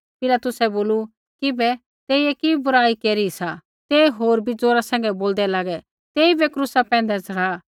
पिलातुसै बोलू किबै तेइयै कि बुराई केरी सा ते होर बी ज़ोरा सैंघै बोलदै लागै तेइबै क्रूसा पैंधै च़ढ़ा